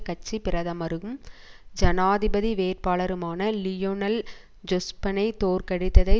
கட்சி பிரதமரும் ஜனாதிபதி வேட்பாளருமான லியொனல் ஜொஸ்பனை தோற்கடித்ததை